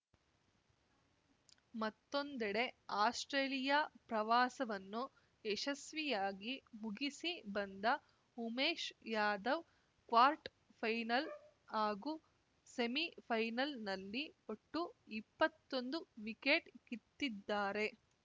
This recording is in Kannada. ಮತ್ತೊಂದೆಡೆ ಆಸ್ಪ್ರೇಲಿಯಾ ಪ್ರವಾಸವನ್ನು ಯಶಸ್ವಿಯಾಗಿ ಮುಗಿಸಿ ಬಂದ ಉಮೇಶ್‌ ಯಾದವ್‌ ಕ್ವಾರ್ಟ್ ಫೈನಲ್‌ ಹಾಗೂ ಸೆಮಿಫೈನಲ್‌ನಲ್ಲಿ ಒಟ್ಟು ಇಪ್ಪತ್ತೊಂದು ವಿಕೆಟ್‌ ಕಿತ್ತಿದ್ದಾರೆ